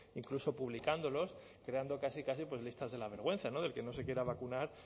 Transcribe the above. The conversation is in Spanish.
incluso publicándolos creando casi casi pues listas de la vergüenza del que no se quiera vacunar